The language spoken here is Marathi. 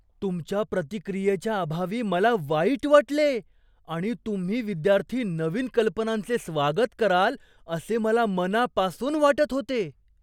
तुमच्या प्रतिक्रियेच्या अभावी मला वाईट वाटले आणि तुम्ही विद्यार्थी नवीन कल्पनांचे स्वागत कराल असे मला मनापासून वाटत होते.